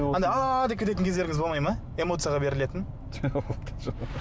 анадай ааа деп кететін кездеріңіз болмай ма эмоцияға берілетін